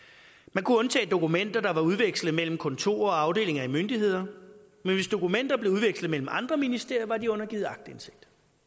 man kunne undtage dokumenter der var udvekslet mellem kontorer og afdelinger af myndigheder men hvis dokumenter blev udvekslet mellem andre ministerier var de undergivet aktindsigt